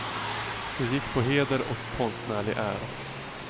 Det gick på heder och konstnärlig ära.